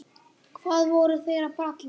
Hvað voru þeir að bralla?